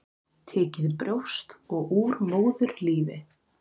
Tekið brjóst og úr móðurlífi.